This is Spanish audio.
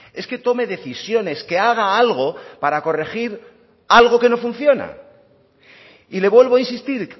es que tome decisiones que haga algo para corregir algo que no funciona y le vuelvo a insistir